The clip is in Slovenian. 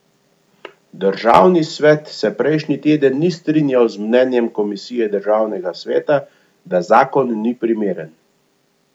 Državni svet se prejšnji teden ni strinjal z mnenjem komisije državnega sveta, da zakon ni primeren.